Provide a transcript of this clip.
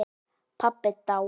Pabbi dáinn.